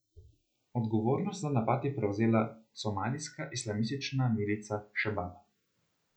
Odgovornost za napad je prevzela somalijska islamistična milica Šebab.